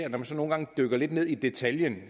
når man dykker lidt ned i detaljen